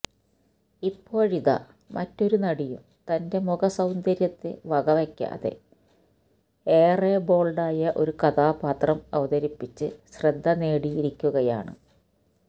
ഇപ്പോഴിതാ മറ്റൊരു നടിയും തന്റെ മുഖ സൌന്ദര്യത്തെ വക വയ്ക്കാതെ ഏറെ ബോള്ഡായ ഒരു കഥാപാത്രം അവതരിപ്പിച്ച് ശ്രദ്ധ നേടിയിരിക്കുകയാണ്